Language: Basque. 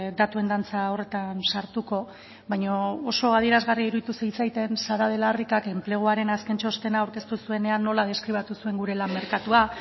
datuen dantza horretan sartuko baina oso adierazgarria iruditu zitzaidan sara de la ricak enpleguaren azken txostena aurkeztu zuenean nola deskribatu zuen gure lan merkatua